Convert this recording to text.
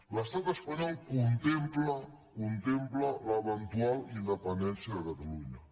l’estat espanyol contempla contempla l’eventual independència de catalunya